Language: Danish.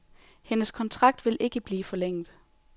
Hendes kontrakt vil ikke blive forlænget.